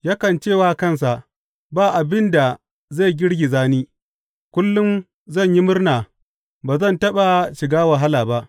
Yakan ce wa kansa, Ba abin da zai girgiza ni; kullum zan yi murna ba zan taɓa shiga wahala ba.